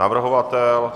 Navrhovatel?